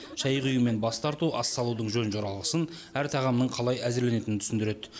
шай құю мен бас тарту ас салудың жөн жоралғысын әр тағамның қалай әзірленетінін түсіндіреді